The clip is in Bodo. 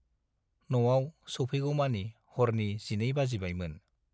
न'आव सौफैगौमानि हरनि जिनै बाजिबायमोन।